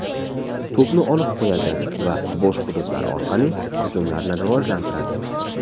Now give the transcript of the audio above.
To‘pni olib qo‘yadi va bo‘sh hududlar orqali hujumlarni rivojlantiradi.